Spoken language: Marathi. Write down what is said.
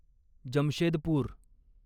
जमशेदपूर